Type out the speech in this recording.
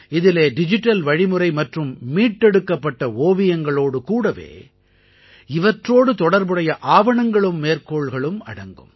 இதிலே டிஜிட்டல் வழிமுறை மற்றும் மீட்டெடுக்கப்பட்ட ஓவியங்களோடு கூடவே இவற்றோடு தொடர்புடைய ஆவணங்களும் மேற்கோள்களும் அடங்கும்